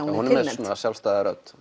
hún er með svona sjálfstæða rödd